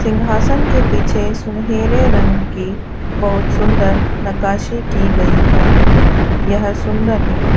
सिंहासन के पीछे सुनहरे रंग की बहुत सुंदर नकाशी की गई है यह सुंदर है।